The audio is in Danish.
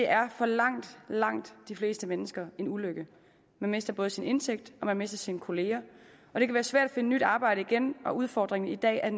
er for langt langt de fleste mennesker en ulykke man mister både sin indtægt og man mister sine kollegaer og det kan være svært et nyt arbejde igen udfordringen i dag er